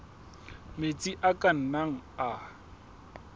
metsi a ka nnang a